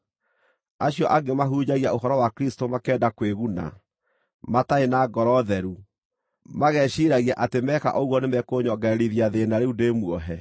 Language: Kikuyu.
Acio angĩ mahunjagia ũhoro wa Kristũ makĩenda kwĩguna, matarĩ na ngoro theru, mageciiragia atĩ meka ũguo nĩmekũnyongererithia thĩĩna rĩu ndĩ muohe.